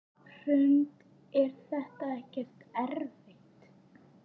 Hrund: Er þetta ekkert erfitt?